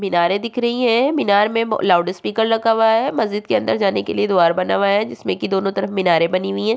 मीनारे दिख रही है मीनार में म लाउड स्पीकर लगा हुआ है मस्जिद के अंदर जाने के लिए द्वार बना हुआ है जिसमे की दोनों तरफ मीनारे बनी हुई है।